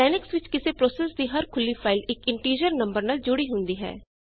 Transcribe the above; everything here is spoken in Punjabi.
ਲਿਨਕਸ ਵਿੱਚ ਕਿਸੇ ਪ੍ਰੋਸੇੱਸ ਦੀ ਹਰ ਖੁੱਲੀ ਫਾਈਲ ਇਕ ਇੰਟੀਜਰ ਨੰਬਰ ਨਾਲ ਜੁੜੀ ਹੁੰਦੀ ਹੈ